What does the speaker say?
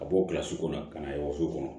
Ka bɔ kilasi kɔnɔ ka na yɔgɔso kɔnɔ